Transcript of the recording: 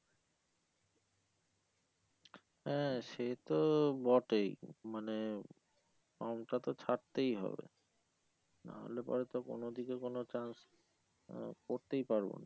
হ্যাঁ সে তো বটেই মানে form টা তো ছাড়তেই হবে না হলে পরে তো কোনো দিকে কোনো chance আহ করতেই পারবো না